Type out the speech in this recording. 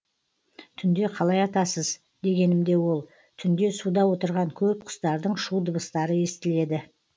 түнде қалай атасыз дегенімде ол түнде суда отырған көп құстардың шу дыбыстары естіледі